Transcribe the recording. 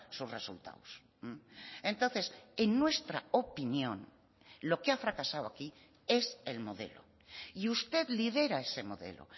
sus resultados entonces en nuestra opinión lo que ha fracasado aquí es el modelo y usted lidera ese modelo